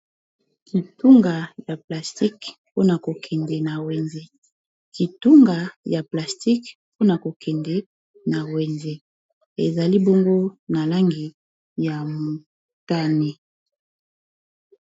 kitunga ya plastique pona kokende na wenze, ezali bongo na langi ya motane.